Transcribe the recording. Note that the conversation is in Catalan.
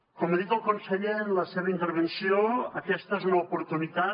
com ha dit el conseller en la seva intervenció aquesta és una oportunitat